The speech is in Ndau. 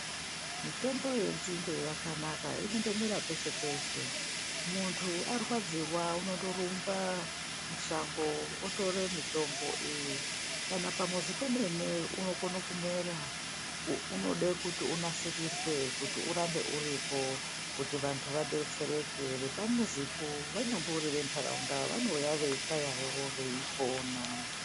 Mitombo yenzinde yakanaka inondomera peshe peshe muntu arwadziwa unondorumba mushango otore mitombo iyi, kana pamuzi pemene unokone kumera unode kuti unosirisee kuti urambe uripo